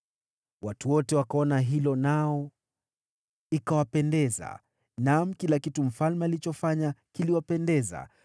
Watu wote wakaona hilo nao ikawapendeza; naam, kila kitu mfalme alichofanya kiliwapendeza.